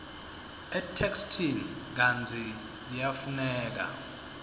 etheksthini kantsi liyafuneka